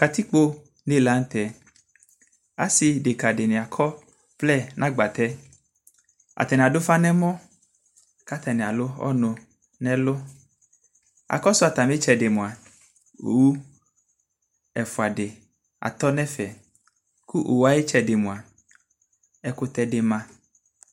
katikpɔ nɛ lantɛ asii ɛdɛka dini akɔ ɔvlɛnʋagbatɛ, atani adʋ ʋƒa nʋ ɛmɔ kʋ atani alʋ ɔnʋ nʋ ɛlʋ, akɔsʋ atami itsɛdi mʋa ɔwʋ ɛƒʋa di atɔ nʋ ɛƒɛ kʋ ɔwʋɛ ayi itsɛdi mʋa ɛkʋtɛ dima